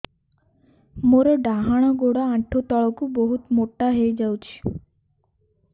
ମୋର ଡାହାଣ ଗୋଡ଼ ଆଣ୍ଠୁ ତଳକୁ ବହୁତ ମୋଟା ହେଇଯାଉଛି